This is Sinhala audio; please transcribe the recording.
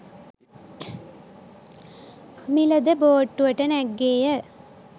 අමිල ද බෝට්ටුවකට නැග්ගේය.